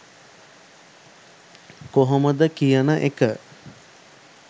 කොහොමද කියන එක.